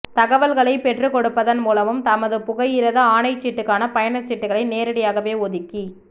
தகவல்களைப் பெற்றுக் கொடுப்பதன் மூலமும் தமது புகையிரத ஆணைச்சீட்டுக்கான பயணச் சீட்டுக்களை நேரடியாகவே ஒதுக்கிக்